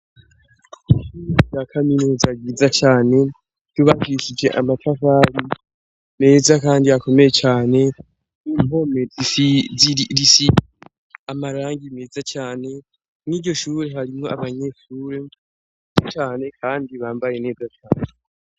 Ishure rya kaminuza riza cane ryubakishije amatafari meza kandi akomeye cane, impome zisize amarangi meza cane, mw'iryo shure harimwo abanyeshure benshi cane kandi bambaye neza cane.